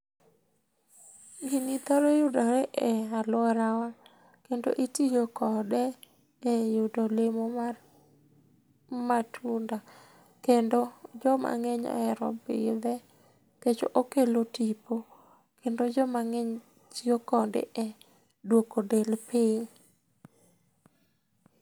Gini thoro yudore e alourawa, kendo itio kode e yudo olemo mar matunda, kendo joma ng'eny oero pidhe nkech okelo tipo. Kendo joma ng'eny tio kode e duoko del piny.